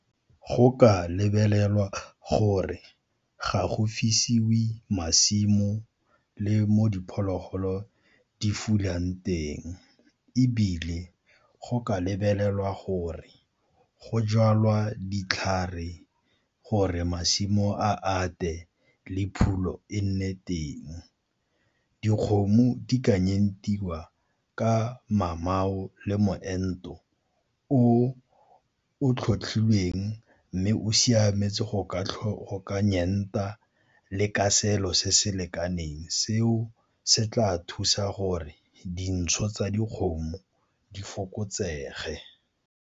Go ka lebelelwa gore ga go fesiwe masimo le mo diphologolo di fulang teng, ebile go ka lebelelwa gore go jalwa ditlhare gore masimo a ate le phulo e nne teng. Dikgomo di ka ka mamao le moento o o tlhotlhilweng mme o siametse go ka le ka selo se se lekaneng. Seo se tla thusa gore dintsho tsa dikgomo di fokotsege.